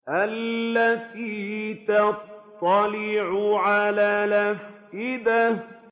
الَّتِي تَطَّلِعُ عَلَى الْأَفْئِدَةِ